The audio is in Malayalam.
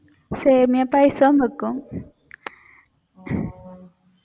സേമിയ പായസം വെക്കും